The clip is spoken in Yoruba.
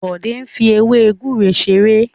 Bode n fí ewe gúre ṣeré.